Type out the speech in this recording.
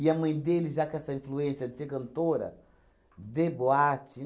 a mãe dele, já com essa influência de ser cantora, de boate.